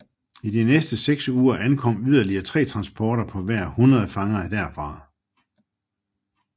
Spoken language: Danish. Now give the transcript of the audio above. I de næste seks uger ankom yderligere tre transporter på hver tre hundrede fanger derfra